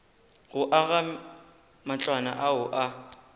go aga matlwana ao a